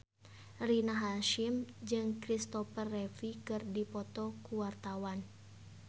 Rina Hasyim jeung Kristopher Reeve keur dipoto ku wartawan